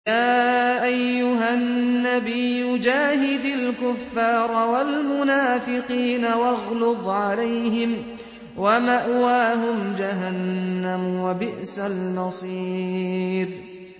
يَا أَيُّهَا النَّبِيُّ جَاهِدِ الْكُفَّارَ وَالْمُنَافِقِينَ وَاغْلُظْ عَلَيْهِمْ ۚ وَمَأْوَاهُمْ جَهَنَّمُ ۖ وَبِئْسَ الْمَصِيرُ